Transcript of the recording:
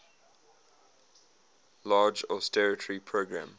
large austerity program